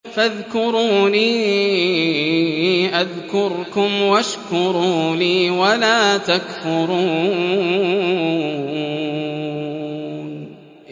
فَاذْكُرُونِي أَذْكُرْكُمْ وَاشْكُرُوا لِي وَلَا تَكْفُرُونِ